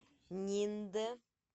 ниндэ